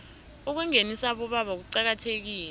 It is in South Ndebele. ukungenisa abobaba kuqakathekile